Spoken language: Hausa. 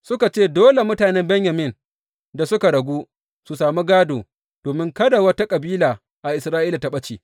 Suka ce, Dole mutanen Benyamin da suka ragu su sami gādo, domin kada wata kabila a Isra’ila ta ɓace.